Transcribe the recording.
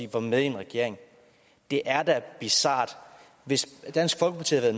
var med i en regering det er da bizart hvis dansk folkeparti havde